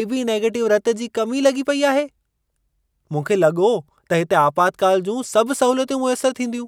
AB negative रतु जी कमी लॻी पई आहे। मूंखे लॻो त हिते आपातकालु जूं सभ सहूलियतूं मुयसरु थींदियूं।